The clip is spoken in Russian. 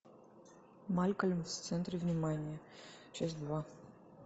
малькольм в центре внимания часть два